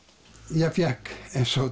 ég fékk eins